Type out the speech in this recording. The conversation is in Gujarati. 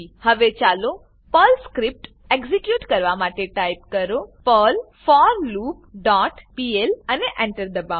હવે ચાલો પર્લ સ્ક્રીપ્ટ એક્ઝીક્યુટ કરવા માટે ટાઈપ કરો પર્લ ફોરલૂપ ડોટ પીએલ અને Enter દબાવો